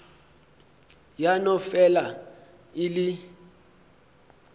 ya no fela e le